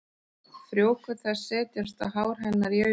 Frjókorn þess setjast á hár hennar og í augun.